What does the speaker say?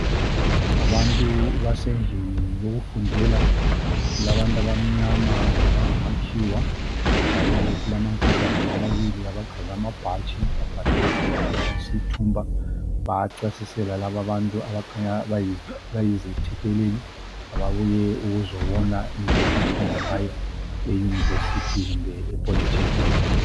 abantu basendlini yokufundela kulabantu abamnyama labangamakhiwa njalo kulamankazana amabili agqoke abhalwe IRPC Tumba bayachasisela laba abantu abakhanya bayizethekeleli ababuye ukuzobona indlela abafunda ngayo e university kumbe e Polytechnic